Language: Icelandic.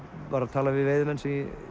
talaði við veiðimenn ég